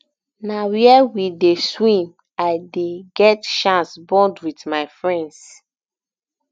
na where we dey swim i dey get chance bond wit my friends